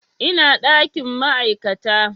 Ina ɗakin ma'aikata